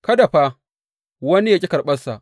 Kada fa wani yă ƙi karɓansa.